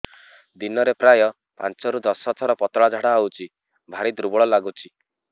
ଦିନରେ ପ୍ରାୟ ପାଞ୍ଚରୁ ଦଶ ଥର ପତଳା ଝାଡା ହଉଚି ଭାରି ଦୁର୍ବଳ ଲାଗୁଚି